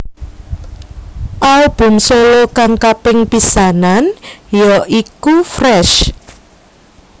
Album solo kang kaping pisanan ya iku Fresh